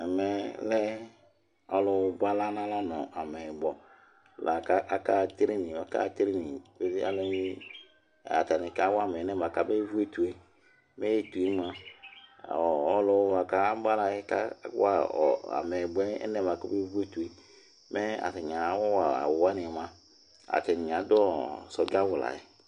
ɛmɛ lɛ alʋ bʋala nʋ amɛyibɔ lakʋ aka ha training, atani ka wa ma alɛnɛ atani bɛ vʋ ɛtʋɛ, mɛ ɛtʋɛ mʋa ɔlʋ bʋakʋ abʋalaɛ ka wa amɛyibɔɛ alɛnɛ bʋakʋ ɔbɛ vʋ ɛtʋɛ, mɛ atani awa awʋ wani mʋa atani adʋ soldier awʋ layɛ